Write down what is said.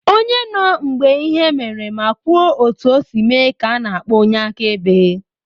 Onye nọ mgbe ihe mere ma kwuo otu o si mee ka ana akpọ onye akaebe.